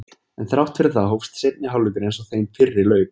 En þrátt fyrir það hófst seinni hálfleikur eins og þeim fyrri lauk.